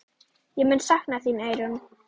Ég mun sakna þín, Eyrún.